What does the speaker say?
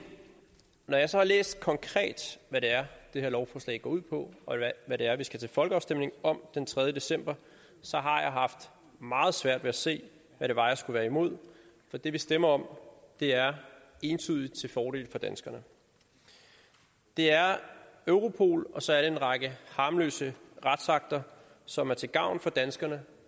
når jeg så har læst konkret hvad det er det her lovforslag går ud på og hvad det er vi skal til folkeafstemning om den tredje december så har jeg haft meget svært ved at se hvad det var jeg skulle være imod for det vi stemmer om er entydigt til fordel for danskerne det er europol og så er det en række harmløse retsakter som er til gavn for danskerne